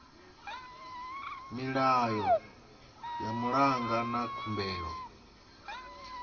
milayo ya malugana na khumbelo